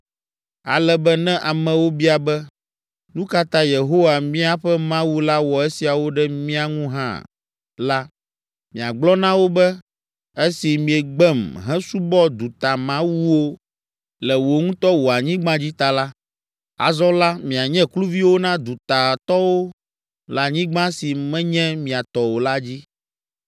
Ale be ne amewo bia be, ‘Nu ka ta Yehowa, míaƒe Mawu la wɔ esiawo ɖe mía ŋu hã?’ la, miagblɔ na wo be, ‘Esi miegbem hesubɔ dutamawuwo le wò ŋutɔ wò anyigba dzi ta la, azɔ la mianye kluviwo na dutatɔwo le anyigba si menye mia tɔ o la dzi.’